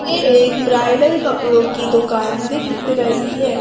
ये एक ब्राइडल कपड़ों की दुकान दिख रही है।